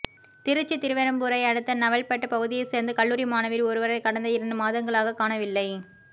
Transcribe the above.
திருச்சி திருவெறும்பூரை அடுத்த நவல்பட்டு பகுதியை சேர்ந்த கல்லூரி மாணவி ஒருவரை கடந்த இரண்டு மாதங்களாக காணவில்லை